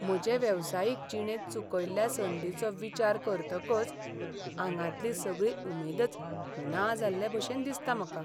म्हजे वेवसायीक जिणेंत चुकयल्ल्या संदींचो विचार करतकच आंगांतली सगळी उमेदच ना जाल्लेभशेन दिसता म्हाका.